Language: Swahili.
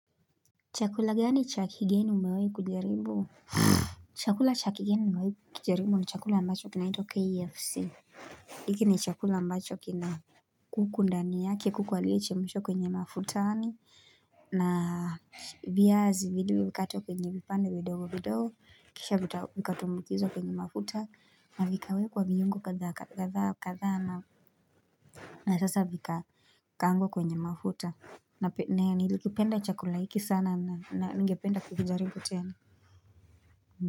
Chakula gani chakigeni umewai kujaribu chakula chakigeni nimewai kikijaribu ni chakula ambacho kina itwa KFC Iki ni chakula ambacho kina kuku ndani yake kuku alie chemshwa kwenye mafutani viazi vidogo wikato kwenye vipande vidogo vidogo kisha vikatumbukizwa kwenye mafuta na vikawekwa viungo katha na sasa vika Kangwa kwenye mafuta na penea nilikipenda chakula hiki sana na ngependa kukijaribu tena.